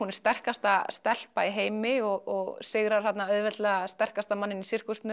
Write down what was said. sterkasta stelpa í heimi og sigrar þarna auðveldlega sterkasta manninn í